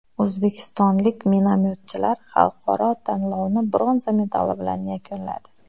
O‘zbekistonlik minomyotchilar xalqaro tanlovni bronza medali bilan yakunladi.